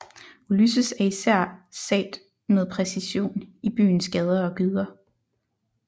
Ulysses er især sat med præcision i byens gader og gyder